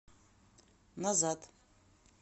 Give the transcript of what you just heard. назад